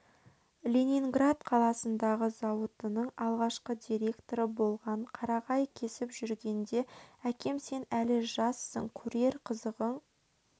ленинград қаласындағы зауытының алғашқы директоры болған қарағай кесіп жүргенде әкеме сен әлі жассың көрер қызығың